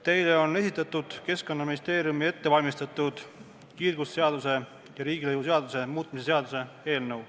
Teile on esitatud Keskkonnaministeeriumi ettevalmistatud kiirgusseaduse ja riigilõivuseaduse muutmise seaduse eelnõu.